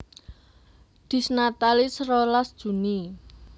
Dies Natalis rolas Juni